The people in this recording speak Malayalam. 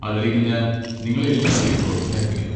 അതിലേക്ക് ഞാൻ നിങ്ങളെ എല്ലാവരെയും പ്രോത്സാഹിപ്പിക്കുന്നു.